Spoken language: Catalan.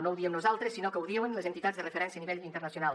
no ho diem nosaltres sinó que ho diuen les entitats de referència a nivell internacional